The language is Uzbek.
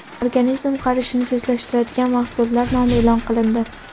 Organizm qarishini tezlashtiradigan mahsulotlar nomi e’lon qilindi.